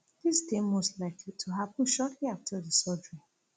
dis dey most likely to happen shortly afta di surgery